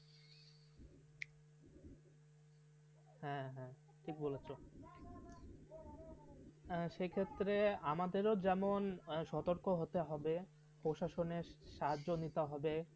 হ্যাঁ হ্যাঁ ঠিক বলেছ হ্যাঁ সেই ক্ষেত্রে আমাদেরও যেমন সতর্ক হতে হবে প্রশাসনে সাহায্য নিতে হবে.